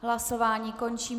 Hlasování končím.